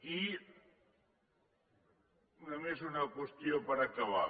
i només una qüestió per acabar